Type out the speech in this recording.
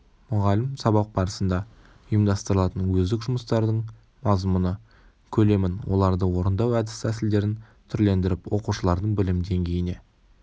мұғалім сабақ барысында ұйымдастырылатын өздік жұмыстардың мазмұны көлемін оларды орындау әдіс тәсілдерін түрлендіріп оқушылардың білім деңгейіне